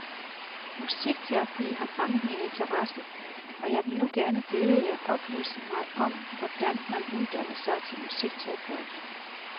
Musikterapi har fanget min interesse, og jeg vil nu gerne bede jer oplyse mig om hvordan man uddanner sig til musikterapeut.